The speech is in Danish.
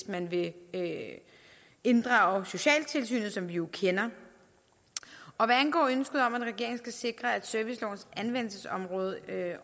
man vil inddrage socialtilsynet som vi jo kender hvad angår ønsket om at regeringen skal sikre at servicelovens anvendelsesområde